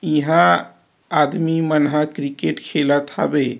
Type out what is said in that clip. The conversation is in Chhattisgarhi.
इहा आदमी मन ह क्रिकेट खेलत हावे।